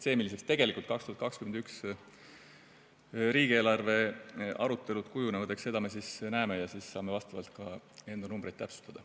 Seda, milliseks tegelikult 2021. aasta riigieelarve arutelud kujunevad, me näeme ja saame ka enda numbreid täpsustada.